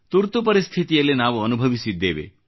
ತುರ್ತು ಪರಿಸ್ಥಿತಿಯಲ್ಲಿ ನಾವು ಅನುಭವಿಸಿದ್ದೇವೆ